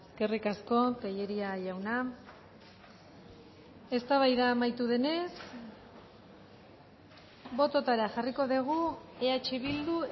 eskerrik asko tellería jauna eztabaida amaitu denez bototara jarriko dugu eh bildu